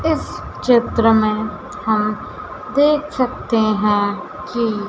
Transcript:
इस चित्र में हम देख सकते हैं कि--